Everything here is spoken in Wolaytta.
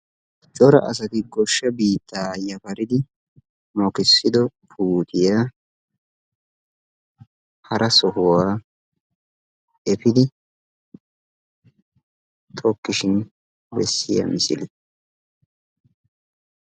cora asati goshsha biitta yafaridi mokkissido puuttiyaa hara sohuwaa efidde tokkishin bessiya misile.